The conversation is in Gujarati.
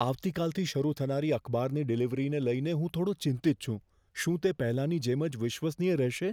આવતીકાલથી શરૂ થનારી અખબારની ડિલિવરીને લઈને હું થોડો ચિંતિત છું. શું તે પહેલાની જેમ જ વિશ્વસનીય રહેશે?